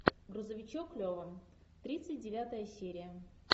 грузовичок лева тридцать девятая серия